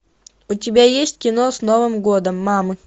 у тебя есть кино с новым годом мамы